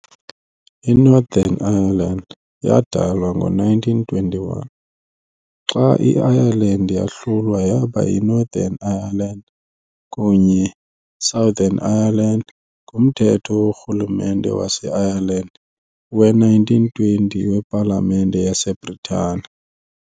INorthern Ireland yadalwa ngo-1921, xa i-Ireland yahlulwa yaba yi-"Northern Ireland" kunye ne "Southern Ireland" "nguMthetho woRhulumente wase-Ireland we"-1920 wePalamente yase-Bhritane .